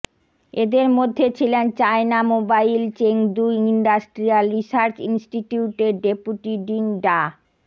এদের মধ্যে ছিলেন China mobile Chengdu industrial research ইনস্টিটিউটের ডেপুটি ডিন ডা